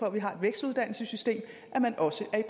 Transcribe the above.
at vi har et vækstuddannelsessystem at man også er